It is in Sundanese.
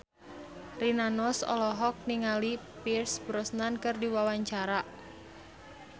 Rina Nose olohok ningali Pierce Brosnan keur diwawancara